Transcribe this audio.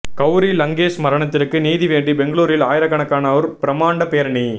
கவுரி லங்கேஷ் மரணத்திற்கு நீதி வேண்டி பெங்களூரில் ஆயிரக்கணக்கானோர் பிரமாண்ட பேரணி